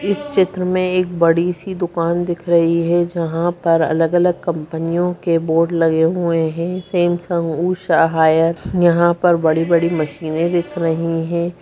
इस चित्र में एक बड़ी सी दुकान दिख रही है जहां पर अलग-अलग कंपनियों के बोर्ड लगे हुए हैं सैमसंग उषा हायर यहां पर बड़ी-बड़ी मशीने दिख रही है।